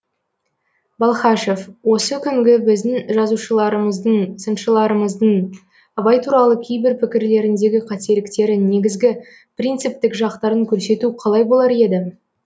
балхашев осы күнгі біздің жазушыларымыздың сыншыларымыздың абай туралы кейбір пікірлеріндегі қателіктері негізгі принциптік жақтарын көрсету қалай болар еді